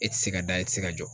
E tɛ se ka da e tɛ se ka jɔ.